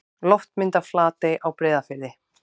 Loftmynd af Flatey á Breiðafirði.